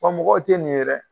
Wa mɔgɔw tɛ nin ye dɛ.